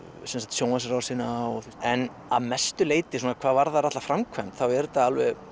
sjónvarpsrásina en að mestu leyti hvað varðar alla framkvæmd er þetta